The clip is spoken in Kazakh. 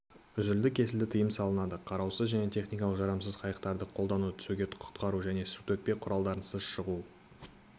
үзілді-кесілді тыйым салынады қараусыз және техникалық жарамсыз қайықтарды қолдану түсуге құтқару және сутөкпе құралдарынсыз шығу